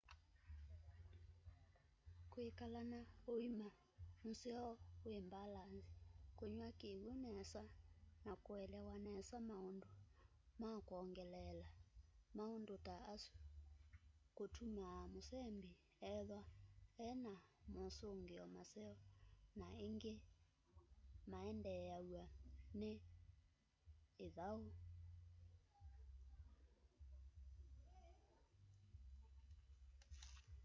kwikala na uima museo wi mbalanzi kunywa kiw'u nesa na kuelewa nesa maundu ma kwongeleela maundu ta asu kutumaa musembi ethwa e na mosungio maseo na ingi mayendeew'a ni ithau